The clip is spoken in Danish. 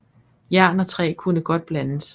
Jern og træ kunne godt blandes